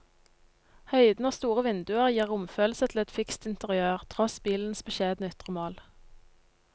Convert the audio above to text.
Høyden og store vinduer gir romfølelse til et fikst interiør, tross bilens beskjedne ytre mål.